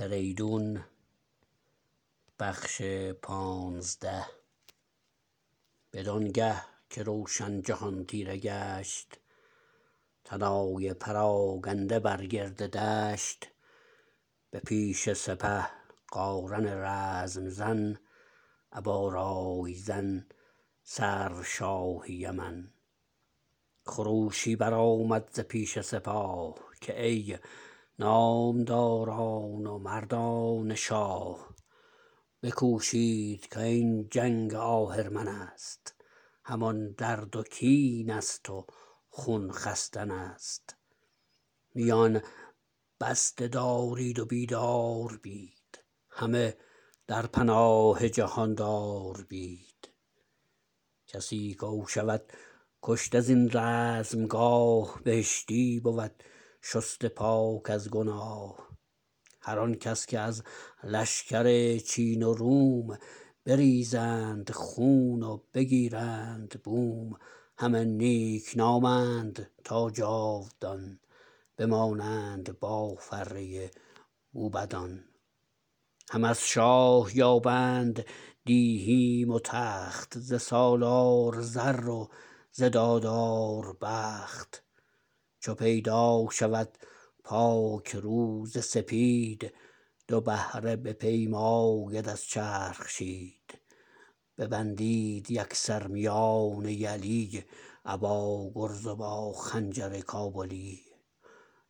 بدان گه که روشن جهان تیره گشت طلایه پراگنده بر گرد دشت به پیش سپه قارن رزم زن ابا رای زن سرو شاه یمن خروشی برآمد ز پیش سپاه که ای نامداران و مردان شاه بکوشید کاین جنگ آهرمنست همان درد و کین است و خون خستنست میان بسته دارید و بیدار بید همه در پناه جهاندار بید کسی کو شود کشته زین رزمگاه بهشتی بود شسته پاک از گناه هر آن کس که از لشکر چین و روم بریزند خون و بگیرند بوم همه نیکنامند تا جاودان بمانند با فره موبدان هم از شاه یابند دیهیم و تخت ز سالار زر و ز دادار بخت چو پیدا شود پاک روز سپید دو بهره بپیماید از چرخ شید ببندید یکسر میان یلی ابا گرز و با خنجر کابلی